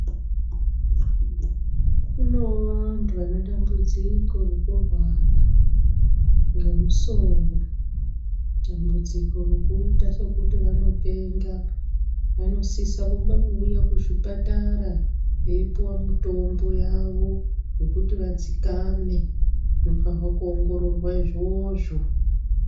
Konoo vantu vane dambudziko rekurwara ngemusoro, dambudziko rekuita sokuti vanopenga. Vanosisa kuuya kuzvipatara veipuwa mitombo yavo yekuti vadzikame. Zvinofanirwa kuongororwa izvozvo.